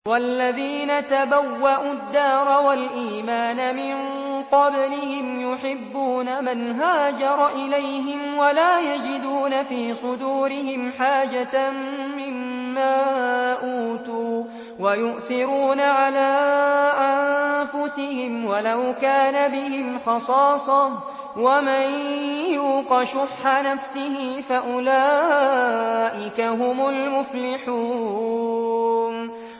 وَالَّذِينَ تَبَوَّءُوا الدَّارَ وَالْإِيمَانَ مِن قَبْلِهِمْ يُحِبُّونَ مَنْ هَاجَرَ إِلَيْهِمْ وَلَا يَجِدُونَ فِي صُدُورِهِمْ حَاجَةً مِّمَّا أُوتُوا وَيُؤْثِرُونَ عَلَىٰ أَنفُسِهِمْ وَلَوْ كَانَ بِهِمْ خَصَاصَةٌ ۚ وَمَن يُوقَ شُحَّ نَفْسِهِ فَأُولَٰئِكَ هُمُ الْمُفْلِحُونَ